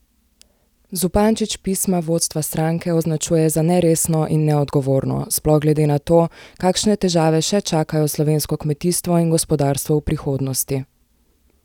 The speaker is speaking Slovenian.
Zupančič pismo vodstva stranke označuje za neresno in neodgovorno, sploh glede na to, kakšne težave še čakajo slovensko kmetijstvo in gospodarstvo v prihodnosti.